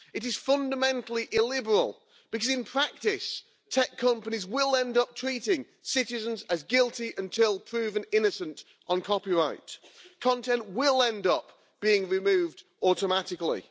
It is fundamentally illiberal, because in practice tech companies will end up treating citizens as guilty until proven innocent on copyright, content will end up being removed automatically.